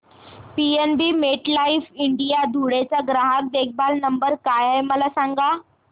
PNB MetLife India Dhule चा ग्राहक देखभाल नंबर काय आहे मला सांगा